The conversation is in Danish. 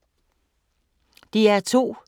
DR2